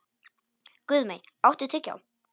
Guðmey, áttu tyggjó?